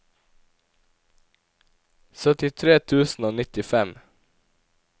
syttitre tusen og nittifem